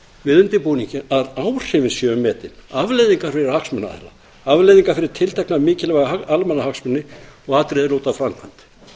við undirbúninginn að áhrifin séu metin afleiðingar fyrir hagsmunaaðila afleiðingar fyrir tiltekna mikilvæga almannahagsmuni og atriði er lúta að framkvæmd